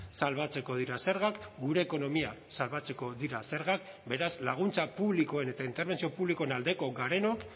salbatzeko dira zergak gure ekonomia salbatzeko dira zergak beraz laguntza publikoen eta interbentzio publikoen aldeko garenok